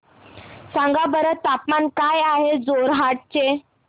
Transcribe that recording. सांगा बरं तापमान काय आहे जोरहाट चे